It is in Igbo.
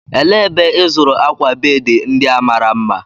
Elee ebe ịzụrụ akwa bedị ndị a mara mma?